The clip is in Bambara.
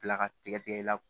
Bila ka tigɛ tigɛ i la